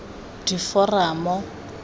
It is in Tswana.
diforamo